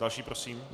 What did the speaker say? Další prosím.